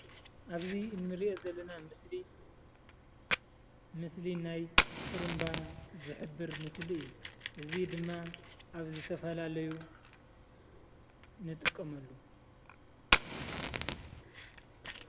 ኣብዚ እንርእዮ ዘለና ምስሊ ምስሊ ናይ ጥሩንባ ዝሕብር ምስሊ እዩ። እዚ ድማ ኣብ ዝተፈላለዩ ንጥቀመሉ